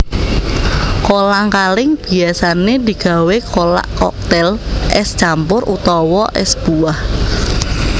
Kolang kaling biyasané digawé kolak koktail ès campur utawa ès buah